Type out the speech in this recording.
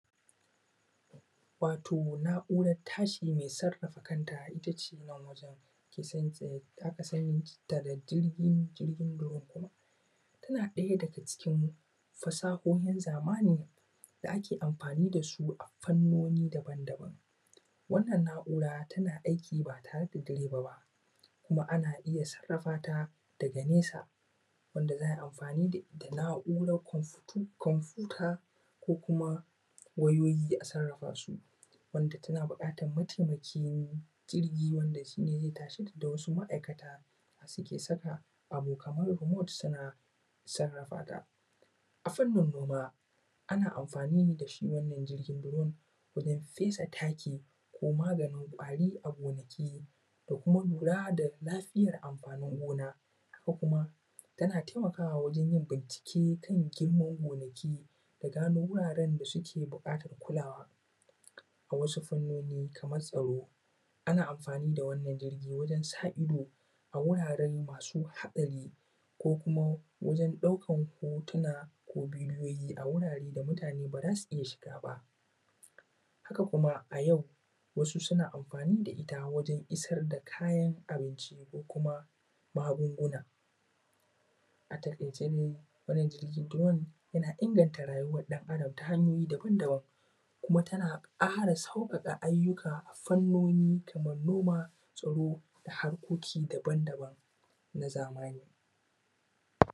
Wato na`uran tashi mai sarafa kanta itace nan wajen ke san tse da aka sani ta da jirgi jirgin “drone” tana ɗaya daga cikin fasahohin zamani da ake amfani da su fannoni daban daban wannan na`ura tana aiki ba tare da direba ba kuma ana iya sarrafa ta daga nesa wanda za`a iya amfani da na`uran komfuta ko kuma wayoyi a sarrafa su wanda tana buƙatan mataimakin jirgi wanda shi ne zai tashe ta da wasu ma`aikata da suke saka abu Kaman “remote” suna sarrafa ta, a fannin noma ana amfani ne da shi wannan jigin domin fesa taki ko maganin ƙwari a gonaki da kuma lura da lafiyar amfanin gona ko kuma tana taimakawa wajen yin bincike kan girman gonaki da gano wuraren da suken buƙatan kulawa a wasu fannoni kamar tsaro ana amfani da wannan jirgi wajen sa ido a wurare masu haɗari ko kuma wajen ɗaukan hotuna ko bidiyoyi a wurare da mutane ba za su iya shiga ba haka kuma a yau wasu suna amfani da ita wajen isar da kayan abinci ko kuma magunguna a taƙaice dai wannan jirgi “drone” yana inganta rayuwan ɗan adam ta hanyoyi daban daban kuma tana ƙara sauƙaƙa aiyuka fannoni kaman noma, tsaro, da harkoki daban daban na zamani